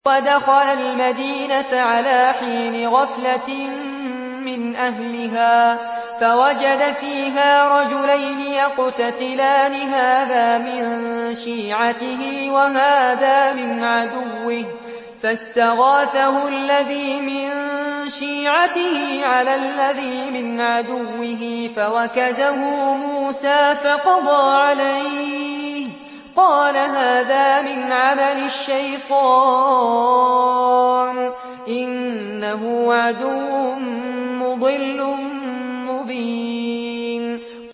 وَدَخَلَ الْمَدِينَةَ عَلَىٰ حِينِ غَفْلَةٍ مِّنْ أَهْلِهَا فَوَجَدَ فِيهَا رَجُلَيْنِ يَقْتَتِلَانِ هَٰذَا مِن شِيعَتِهِ وَهَٰذَا مِنْ عَدُوِّهِ ۖ فَاسْتَغَاثَهُ الَّذِي مِن شِيعَتِهِ عَلَى الَّذِي مِنْ عَدُوِّهِ فَوَكَزَهُ مُوسَىٰ فَقَضَىٰ عَلَيْهِ ۖ قَالَ هَٰذَا مِنْ عَمَلِ الشَّيْطَانِ ۖ إِنَّهُ عَدُوٌّ مُّضِلٌّ مُّبِينٌ